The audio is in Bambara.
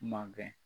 Mankɛ